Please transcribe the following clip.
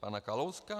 Pana Kalouska?